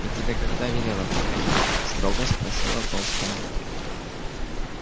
я тебе когда велела приходить строго спросила толстая